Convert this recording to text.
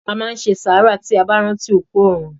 A máá n se sàárà tí a báá ránti òkú òrun.